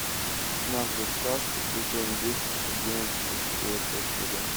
однажды в сказке сезон десять одиннадцатая четвертая серия